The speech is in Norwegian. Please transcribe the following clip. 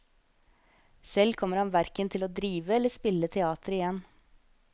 Selv kommer han hverken til å drive eller spille teater igjen.